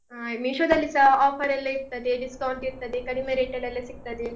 ಅಹ್ Meesho ದಲ್ಲಿಸ offer ಎಲ್ಲ ಇರ್ತದೆ, discount ಇರ್ತದೆ, ಕಡಿಮೆ rate ಎಲ್ಲ ಸಿಗ್ತದೆ.